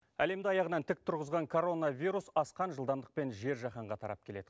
әлемді аяғынан тік тұрғызған коронавирус асқан жылдамдықпен жер жаһанға тарап келеді